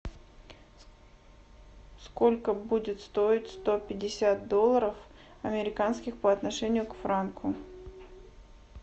сколько будет стоить сто пятьдесят долларов американских по отношению к франку